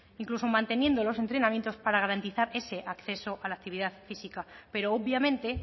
incluso manteniendo los entrenamientos para garantizar ese acceso a la actividad física pero obviamente